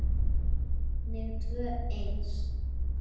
Og engin tvö eins.